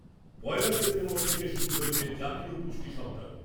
পয়লা September থেকে শুরু হয়েছে জাতীয় পুষ্টি সপ্তাহ'।